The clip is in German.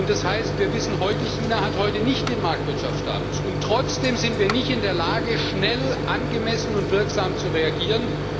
Das heißt, wir wissen heute, dass China heute nicht den Marktwirtschaft-Status hat, und trotzdem sind wir nicht in der Lage, schnell, angemessen und wirksam zu reagieren.